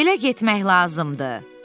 Belə getmək lazımdır.